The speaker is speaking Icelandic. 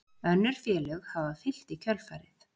Önnur félög hafa fylgt í kjölfarið